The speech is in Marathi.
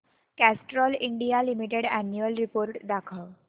Castrol India limited annual report दाखव